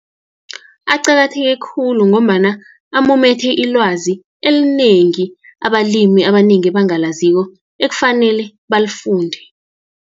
Aqakatheke khulu, ngombana amumethe ilwazi elinengi, abalimi abanengi abangalaziko, ekufanele balifunde.